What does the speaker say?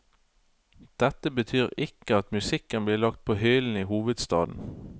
Dette betyr ikke at musikken blir lagt på hyllen i hovedstaden.